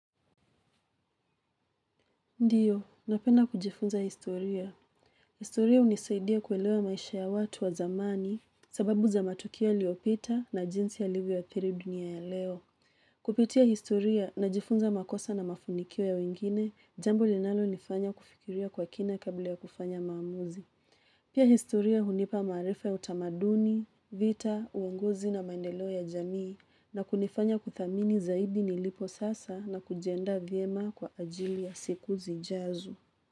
Ndiyo, napenda kujifunza historia. Historia hunisaidia kuelewa maisha ya watu wa zamani sababu za matukio iliyopita na jinsi yalivyo athiri dunia ya leo. Kupitia historia na jifunza makosa na mafanikio ya wengine, jambo linalo nifanya kufikiria kwa kina kabla ya kufanya maamuzi. Pia historia hunipa maarifa ya utamaduni, vita, uongozi na maendeleo ya jamii na kunifanya kuthamini zaidi nilipo sasa na kujianda vyema kwa ajili ya siku zijazo.